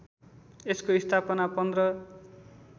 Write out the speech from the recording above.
यसको स्थापना १५